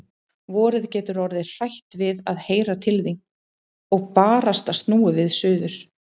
Vorið getur orðið hrætt við að heyra til þín. og barasta snúið við suður.